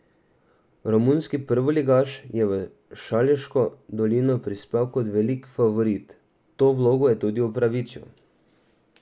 Romunski prvoligaš je v Šaleško dolino prispel kot velik favorit, to vlogo je tudi upravičil.